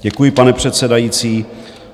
Děkuji, pane předsedající.